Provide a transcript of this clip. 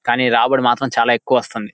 కానీ రాబడి మాత్రం చాలా ఎక్కువ వస్తుంది.